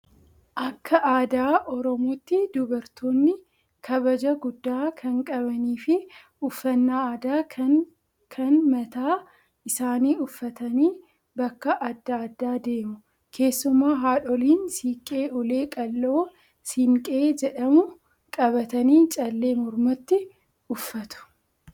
Akka aadaa oromootti dubartoonni kabaja guddaa kan qabanii fi uffannaa aadaa kan kan mataa isaanii uffatanii bakka adda addaa deemu. Keessumaa haadholiin siinqee ulee qal'oo siinqee jedhamu qabatanii callee mormatti uffatu.